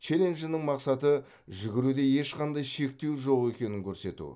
челленджінің мақсаты жүгіруде ешқандай шектеу жоқ екенін көрсету